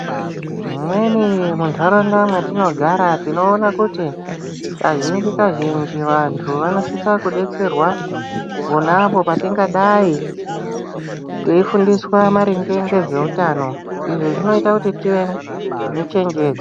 Mumweni mundaraunda matinogara tinoona kuti kazhinji kazhinji vantu vanosisa kudetserwa ponapo patingadayi teifundiswa maringe ngezveutano izvi zvinoita kuti tive nechenjedzo.